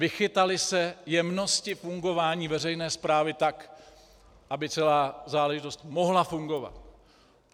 Vychytaly se jemnosti fungování veřejné správy tak, aby celá záležitost mohla fungovat.